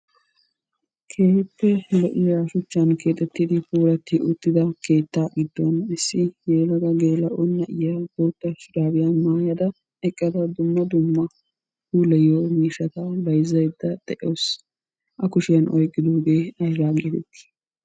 Keehippe lo"iya shuchchan keexxetidi puulati uttida keetta giddon issi yelaga gelaa"o naayyiya boota shurabiya maayyada eqqada dumma dumma puulayyiyo miishshata bayzzayda de'awsu. A kushiyaa oyqqidooge aybba getetti?